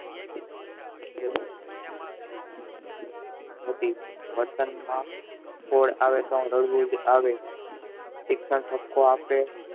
થી વતન મા કોડ આવે ત્યારે લઇ લેજે આવે આપે